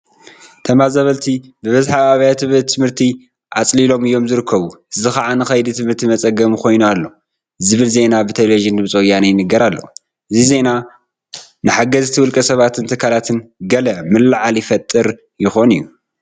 ተመዛበልቲ ብብዝሒ ኣብ ኣብያተ ትምህርቲ ኣፅሊሎም እዮም ዝርከቡ እዚ ከዓ ንከይዲ ትምህርቲ መፀገሚ ኮይኑ ኣሎ ዝብል ዜና ብቴለብዥን ድምፂ ወያነ ይንገር ኣሎ፡፡ እዚ ዜና ንሓገዝቲ ውልቀ ሰባትን ትካላትን ገለ ምልዕዓል ይፈጥር ይኾን እዩ፡፡